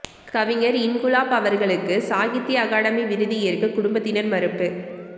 கவிஞர் இன்குலாப் அவர்களுக்கு சாகித்திய அகாடமி விருது ஏற்க குடும்பத்தினர் மறுப்பு